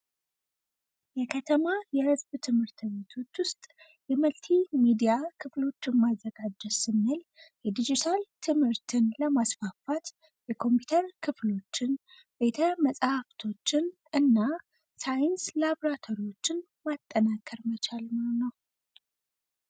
የከተማ የመንግስት ትምህርት ቤቶች ውስጥ የመልቲ ሚዲያ ክፍሎችን ማዘጋጀት ስንል የዲጅታል ክፍሎችን በማስፋፋት ኮምፒውተር ቤቶችን ፣ቤተመጻሕፍሀፍቶችን እና የሳይንስ ላቦራቶሪዎች ማጠናከር መቻልም ነው።